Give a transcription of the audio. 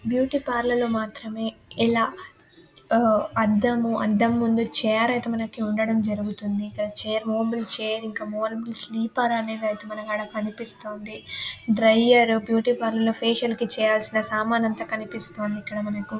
Beauty parlour లో మాత్రమే ఇలా ఊహ్ అద్దము అద్దము ముందు చైర్ ఐతే మనకీ ఉండడము జరుగుతుంది. చేరు మూవ్వబుల్ చైర్ ఇనక మనకి ఆడ కనిపిస్తూ ఉంది డ్రైయర్ బ్యూటీ పార్లర్ లో ఫాషియల్ కి చేయాల్సిన సామాన్లన్నీ కనిపిస్తూ ఉంది ఇక్కడ మనకూ.